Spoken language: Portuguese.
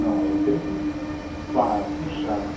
Não, aí eu tenho que pá, puxar, né?